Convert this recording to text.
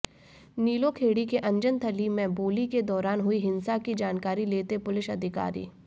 नीलोखेड़ी के अन्जनथली में बोली के दौरान हुई हिंसा की जानकारी लेते पुलिस अधिकारी